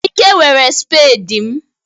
Ike were spade m